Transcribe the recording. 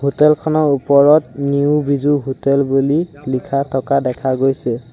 Hotel খনৰ ওপৰত new Biju hotel বুলি লিখা থকা দেখা গৈছে।